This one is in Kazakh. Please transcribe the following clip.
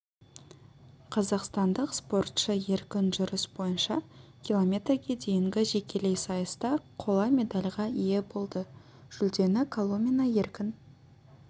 қазақстандық спортшы еркін жүріс бойынша километрге дейінгі жекелей сайыста қола медальға ие болды жүлдені коломина еркін